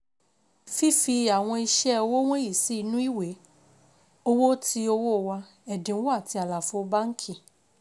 Fi Fi àwọn ìṣe òwò wọ̀nyí sí inú ìwé owó tí owó wà, ẹ̀dínwó àti àlàfo báńkì.